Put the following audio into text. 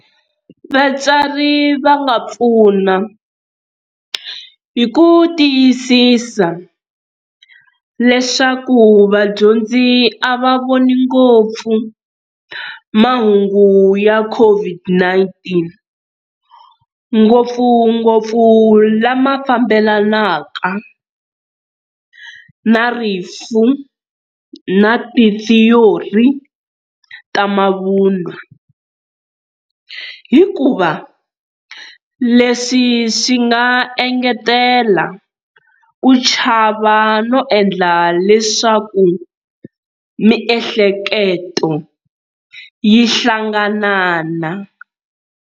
Vatswari va nga pfuna hi ku tiyisisa leswaku vadyondzi a va voni ngopfu mahungu ya COVID-19, ngopfungopfu lama fambelanaka na rifu na tithiyori ta mavunwa, hikuva leswi swi nga engetela ku chava no endla leswaku miehleketo yi hlanganana.